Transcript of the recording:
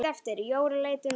Jóra leit undan.